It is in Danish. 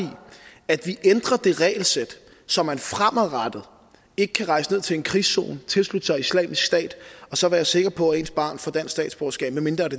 at vi ændrer det regelsæt så man fremadrettet ikke kan rejse ned til en krigszone og tilslutte sig islamisk stat og så være sikker på at ens barn får dansk statsborgerskab medmindre det